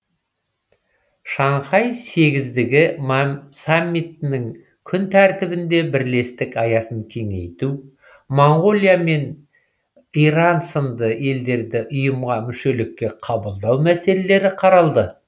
шанхай сегіздігі саммитінің күн тәртібінде бірлестік аясын кеңейту моңғолия және иран сынды елдерді ұйымға мүшелікке қабылдау мәселелері қаралды